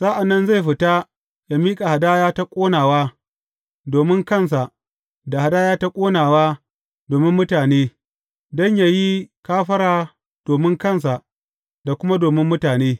Sa’an nan zai fita yă miƙa hadaya ta ƙonawa domin kansa da hadaya ta ƙonawa domin mutane, don yă yi kafara domin kansa da kuma domin mutane.